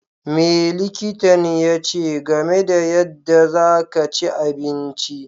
Me likitan yache game da yanda za ka chi abinci?